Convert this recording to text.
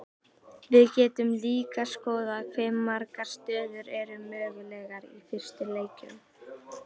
við getum líka skoðað hve margar stöður eru mögulegar í fyrstu leikjum